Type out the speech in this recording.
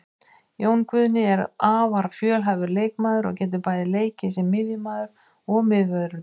Jón Guðni er afar fjölhæfur leikmaður og getur bæði leikið sem miðjumaður og miðvörður.